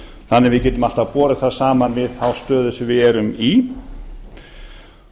þannig að við getum alltaf borið það saman við þá stöðu sem við erum í